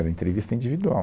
Era entrevista individual.